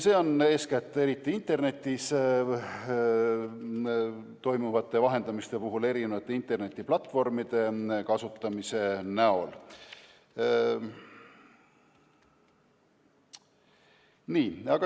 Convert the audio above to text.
Seda esineb eeskätt internetis toimuva vahendamise puhul mitmesuguste internetiplatvormide kasutamise näol.